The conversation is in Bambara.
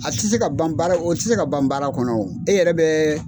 A ti se ka ban baara o ti se ka ban baara kɔnɔ wo e yɛrɛ bɛ.